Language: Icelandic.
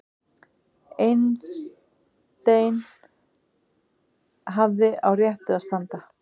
Einstein hafði á réttu að standa